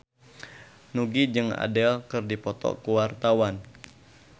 Nugie jeung Adele keur dipoto ku wartawan